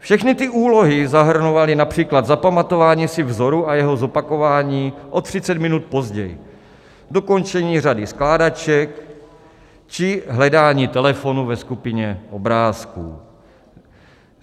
Všechny ty úlohy zahrnovaly například zapamatování si vzoru a jeho zopakování o 30 minut později - dokončení řady skládaček či hledání telefonu ve skupině obrázků.